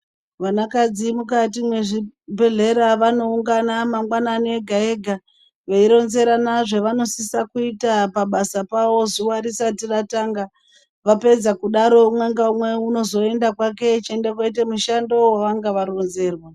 Vanakadzi mukati mwezvibhedhlera vanoungana mangwanani ega ega veironzerana zvavanosisa kuita pabasa pawo zuwa risati ratanga . Vapedza kudaro umwe naumwe unozoenda kwake achiende kooita mushando waanonge aronzerwa .